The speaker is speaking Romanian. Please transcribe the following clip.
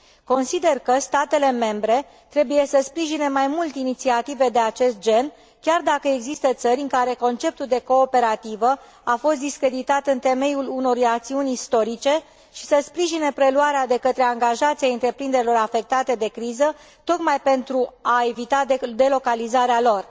Consider că statele membre trebuie să sprijine mai mult inițiative de acest gen, chiar dacă există țări în care conceptul de cooperativă a fost discreditat în temeiul unor rațiuni istorice și se sprijină preluarea de către angajați a întreprinderilor afectate de criză, tocmai pentru a evita delocalizarea lor.